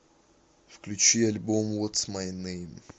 включи альбом вотс май нейм